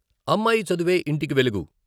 అమ్మాయి చదువే ఇంటికి వెలుగు.